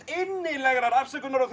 innilega afsökunar á